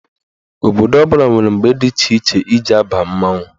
Obodo ọbụla nwere mgbe dị iche iche eji aba mmanwụ.